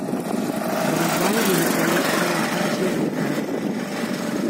врубай великолепная анжелика